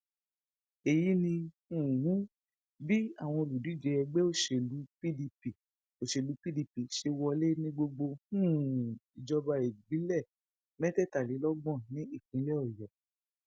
èyí ni um bí àwọn olùdíje ẹgbẹ òṣèlú pdp òṣèlú pdp ṣe wọlé ní gbogbo um ìjọba ìbílẹ mẹtẹẹtàlélọgbọn ní ìpínlẹ ọyọ